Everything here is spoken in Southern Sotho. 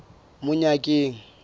monyakeng